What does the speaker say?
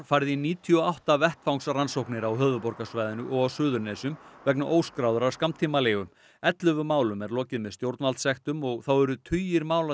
farið í níutíu og átta vettvangsrannsóknir á höfuðborgarsvæðinu og á Suðurnesjum vegna óskráðrar skammtímaleigu ellefu málum er lokið með stjórnvaldssektum og þá eru tugir mála